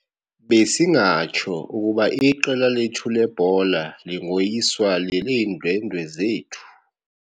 Besingatsho ukuba iqela lethu lebhola lingoyiswa leleendwendwe zethu.